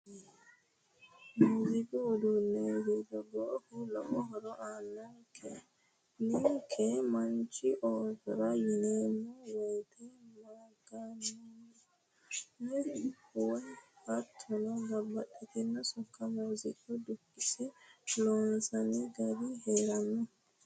Muziiqu uduuni togoohu lowo horo aanonke ninke manchi oosora yineemmo woyte maga'nineemmo woyte hattono babbaxxitino sokko muziiqunni dukkinse loonsanni gari heerano.